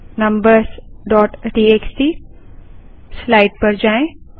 numbers dot TXT slide पर जाएँ